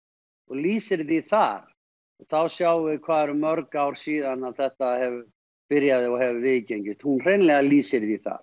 lýsir því þar þá sjáum við hvað eru mörg ár síðan þetta byrjaði og hefur viðgengist hún hreinlega lýsir því þar